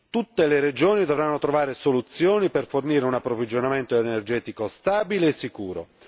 Tutte le regioni dovranno trovare soluzioni per fornire un approvvigionamento energetico stabile e sicuro.